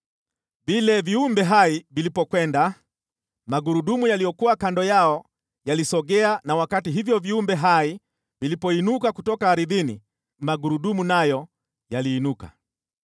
Vile viumbe hai vilipokwenda, magurudumu yaliyokuwa kando yao yalisogea na wakati hivyo viumbe hai vilipoinuka kutoka ardhini magurudumu nayo yaliinuka.